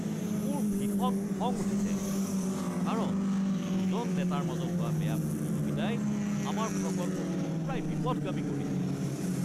মোৰ ভীষণ খং উঠিছে কাৰণ দুজন নেতাৰ মাজত হোৱা বেয়া প্ৰতিযোগিতাই আমাৰ প্ৰকল্পটো প্ৰায় বিপথগামী কৰিছিল।